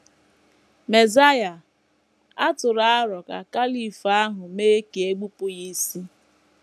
“ Mesaịa ” a tụrụ aro ka caliph ahụ mee ka e bepụ ya isi.